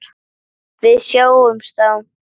Við sjáumst þá!